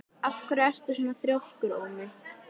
Af hverju ertu svona þrjóskur, Ómi?